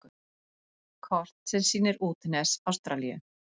Kort sem sýnir útnes Ástralíu.